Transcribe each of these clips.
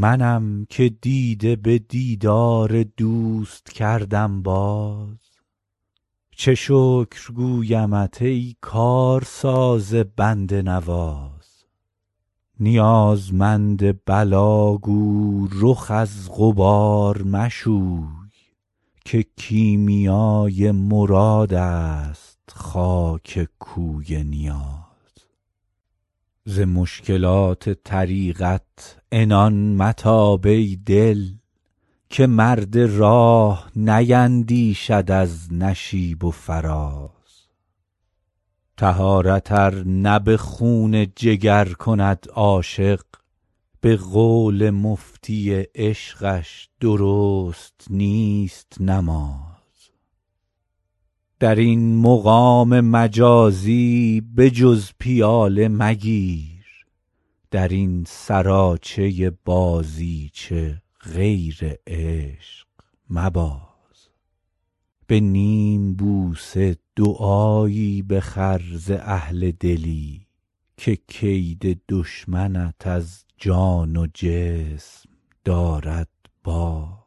منم که دیده به دیدار دوست کردم باز چه شکر گویمت ای کارساز بنده نواز نیازمند بلا گو رخ از غبار مشوی که کیمیای مراد است خاک کوی نیاز ز مشکلات طریقت عنان متاب ای دل که مرد راه نیندیشد از نشیب و فراز طهارت ار نه به خون جگر کند عاشق به قول مفتی عشقش درست نیست نماز در این مقام مجازی به جز پیاله مگیر در این سراچه بازیچه غیر عشق مباز به نیم بوسه دعایی بخر ز اهل دلی که کید دشمنت از جان و جسم دارد باز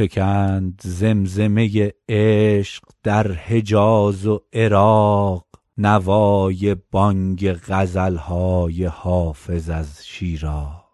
فکند زمزمه عشق در حجاز و عراق نوای بانگ غزل های حافظ از شیراز